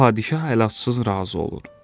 Padşah əlacısız razı olur.